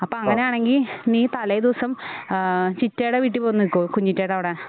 അപ്പൊ അങ്ങനെയാണെങ്കിൽ നീ തലേദിവസം ഏഹ് ചിറ്റടെ വീട്ടിൽ വന്നു നിൽക്കുവോ കുഞ്ഞ് ചിറ്റേടെ അവിടെ